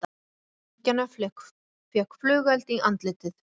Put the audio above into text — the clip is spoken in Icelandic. Einn drengjanna fékk flugeld í andlitið